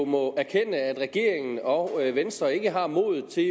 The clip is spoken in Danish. må erkende at regeringen og venstre ikke har modet til